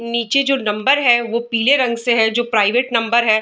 निचे जो नंबर है वो पिले रंग से है जो प्राइवेट नंबर है |